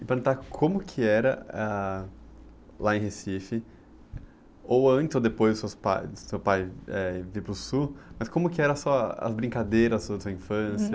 E perguntar como que era, ah, lá em Recife, ou antes ou depois dos seus pais, do seu pai, eh, vir para o Sul, mas como que era a sua, ah, as brincadeiras da sua infância?